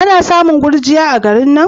Ana samun gurjiya a garin nan?